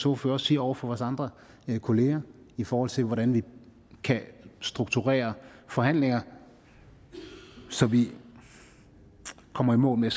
ordfører også siger over for vores andre kolleger i forhold til hvordan vi kan strukturere forhandlinger så vi kommer i mål med